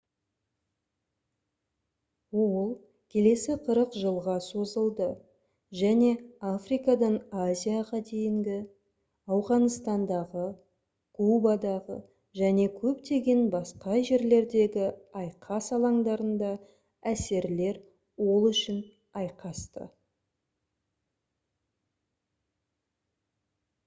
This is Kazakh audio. ол келесі 40 жылға созылды және африкадан азияға дейінгі ауғанстандағы кубадағы және көптеген басқа жерлердегі айқас алаңдарында әсерлер ол үшін айқасты